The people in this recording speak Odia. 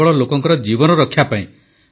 କେବଳ ଲୋକଙ୍କ ଜୀବନ ରକ୍ଷା ପାଇଁ